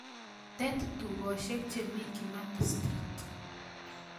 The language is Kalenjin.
Tet tugoshiek chemi kimathi street